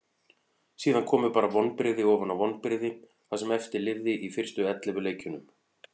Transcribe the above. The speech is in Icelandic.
Síðan komu bara vonbrigði ofan á vonbrigði það sem eftir lifði í fyrstu ellefu leikjunum.